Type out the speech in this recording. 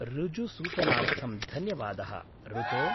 ऋजुसूचनार्थं धन्यवादः ऋतो!